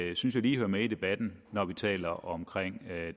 jeg sige lige hører med i debatten når vi taler om